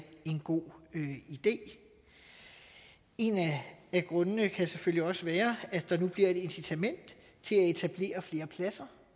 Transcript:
en god idé en af grundene kan selvfølgelig også være at der nu bliver et incitament til at etablere flere pladser